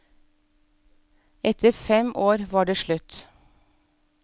Etter fem år var det slutt.